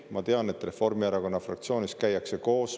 Ma tean, et Reformierakonna fraktsioonis käiakse koos.